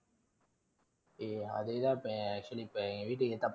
ஏய், அதே தான் இப்போ actually இப்போ ன் வீட்டுக்கு